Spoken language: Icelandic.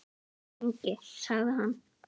Lengi? sagði hann.